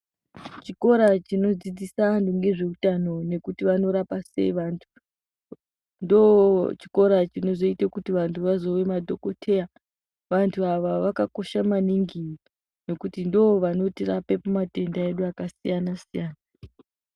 Chikora chinodzidzisa antu ngezveutano nekuti banorapa sei vantu ndoochikora chinoita kuti vantu vazova madhokoteya vantu ava vakakosha maningi nekuti ndovanotirapa mumatenda edu akasiyana siyana